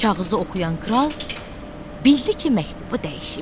Kağızı oxuyan kral bildi ki, məktubu dəyişiblər.